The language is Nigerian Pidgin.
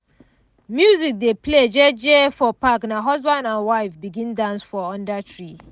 music dey play jeje for park na husband and wife begin dance for under tree.